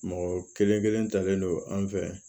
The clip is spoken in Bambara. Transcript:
Mɔgɔ kelen kelen talen don an fɛ